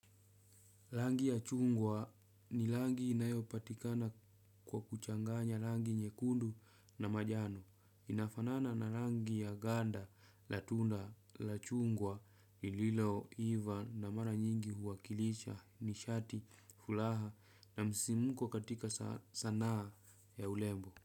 Langi ya chungwa ni langi inayopatikana kwa kuchanganya langi nyekundu na majano. Inafanana na langi ya ganda, la tunda, lachungwa, ililo, iva na mara nyingi huwakilicha, nishati, fulaha na msimuko katika sanaa ya ulembo.